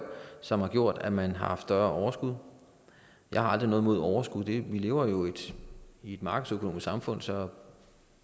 som har gjort at man har haft større overskud jeg har aldrig noget imod overskud vi lever i et markedsøkonomisk samfund så